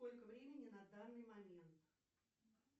сколько времени на данный момент